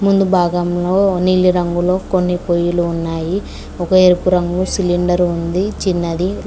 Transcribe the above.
ముందు భాగంలో నీలి రంగులో కొన్ని పొయ్యిలు ఉన్నాయి ఒక ఎరుపు రంగు సిలిండర్ ఉంది చిన్నది.